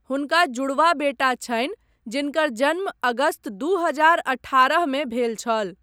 हुनका जुड़वाँ बेटा छनि जिनकर जन्म अगस्त दू हजार अठारह मे भेल छल।